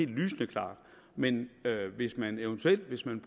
lysende klart men hvis man eventuelt hvis man